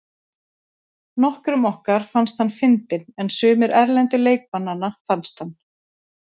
Nokkrum okkar fannst hann fyndinn en sumir erlendu leikmannanna fannst hann.